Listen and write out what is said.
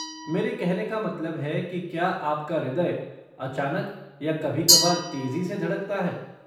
मेरे कहने का मतलब है कि क्या आपका हृदय अचानक या कभी कभार तेजी से धड़कता है?